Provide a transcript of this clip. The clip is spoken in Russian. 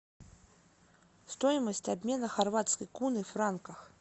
стоимость обмена хорватской куны в франках